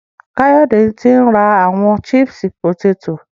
Kayode ti n ra awọn chips poteto.